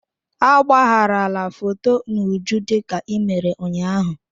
Agbagharala foto n'uju dịka i mere ụnyaahụ!